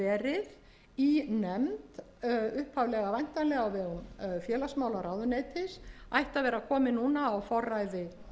verið í nefnd upphaflega væntanlega á vegum félagsmálaráðuneytis ætti að vera komið núna á forræði